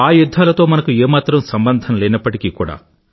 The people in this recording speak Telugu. ఆ యుధ్ధాలతో మనకు ఏ మాత్రం సంబంధం లేనప్పటికీ కూడా